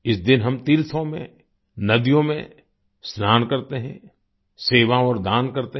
इस दिन हम तीर्थों में नदियों में स्नान करते हैं सेवा और दान करते हैं